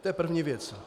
To je první věc.